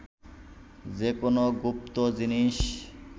যে কোনো গুপ্ত জিনিস